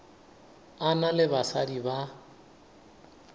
a na le basadi ba